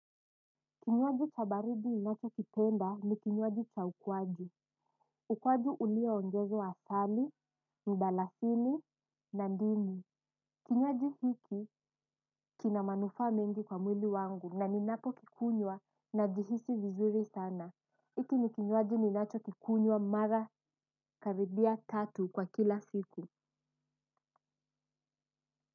Kinywaji cha baridi ninachokipenda ni kinywaji cha ukwaju. Ukwaju ulioongezwa asali, mdalasini, na ndimu kinywaji hiki kina manufaa mengi kwa mwili wangu na ninapokikunywa najihisi vizuri sana. Iki ni kinywaji ninachokikunywa mara karibia tatu kwa kila siku.